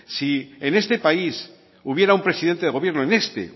si en este país hubiera un presidente de gobierno en este